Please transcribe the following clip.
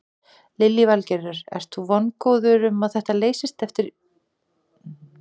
Lillý Valgerður: Ert þú vongóður um að þetta leysist fyrir jól?